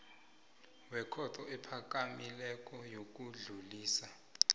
wekhotho ephakamileko yokudlulisela